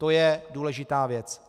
To je důležitá věc.